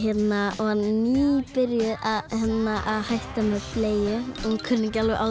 og nýbyrjuð að hætta með bleiu og kunni ekki alveg á